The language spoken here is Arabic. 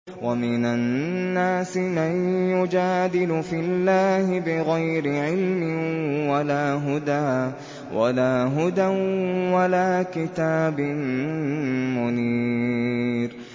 وَمِنَ النَّاسِ مَن يُجَادِلُ فِي اللَّهِ بِغَيْرِ عِلْمٍ وَلَا هُدًى وَلَا كِتَابٍ مُّنِيرٍ